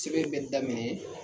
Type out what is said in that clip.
Sɛbɛn bɛ daminɛ